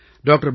doctor